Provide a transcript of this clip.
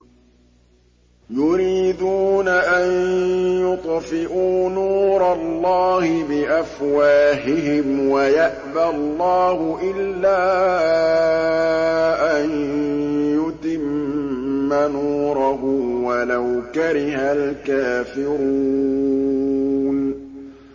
يُرِيدُونَ أَن يُطْفِئُوا نُورَ اللَّهِ بِأَفْوَاهِهِمْ وَيَأْبَى اللَّهُ إِلَّا أَن يُتِمَّ نُورَهُ وَلَوْ كَرِهَ الْكَافِرُونَ